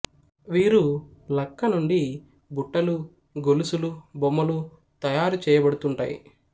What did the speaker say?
వీరు లక్క నుండి బుట్టలు గొలుసులు బొమ్మలు తయారు చేయబడుతుంటాయి